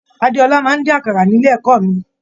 Adéọlá máa n dín àkàrà nílé ẹ̀kọ́ mí.